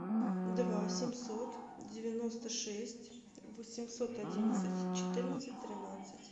два семьсот девяносто шесть восемьсот одинадцать четырнадцать тринадцать